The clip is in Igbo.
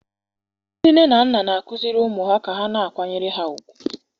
Ndị nne na nna na-akụziri ụmụ ha ka ha na-akwanyere ha ùgwù.